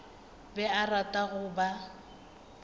be a rata go ba